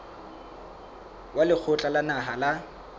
wa lekgotla la naha la